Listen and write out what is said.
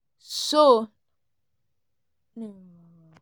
so